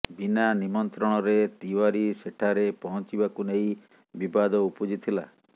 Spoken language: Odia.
ବିନା ନିମନ୍ତ୍ରଣରେ ତିୱାରୀ ସେଠାରେ ପହଞ୍ଚିବାକୁ ନେଇ ବିବାଦ ଉପୁଜିଥିଲା